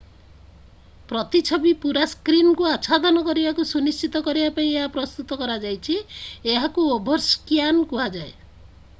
ପ୍ରତିଛବି ପୁରା ସ୍କ୍ରିନ୍ କୁ ଆଚ୍ଛାଦନ କରିବାକୁ ସୁନିଶ୍ଚିତ କରିବା ପାଇଁ ଏହା ପ୍ରସ୍ତୁତ କରାଯାଇଛି ଏହାକୁ ଓଭରସ୍କ୍ୟାନ୍ କୁହାଯାଏ